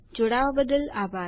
જોડાવા બદ્દલ આભાર